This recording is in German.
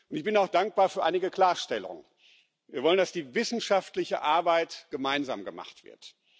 Und ich bin auch dankbar für einige Klarstellungen. Wir wollen, dass die wissenschaftliche Arbeit gemeinsam gemacht wird.